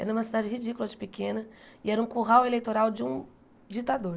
Era uma cidade ridícula de pequena e era um curral eleitoral de um ditador.